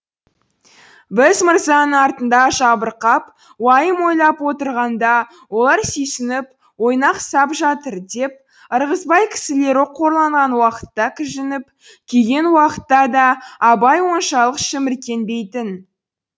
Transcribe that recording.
біз мырзаның артында жабырқап уайым ойлап отырғанда олар сүйсініп ойнақ сап жатыр деп ырғызбай кісілері қорланған уақытта кіжініп күйген уақытта да абай оншалық шіміркенбейтін